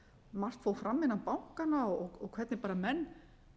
margt fólk hann innan bankanna og hvernig bara menn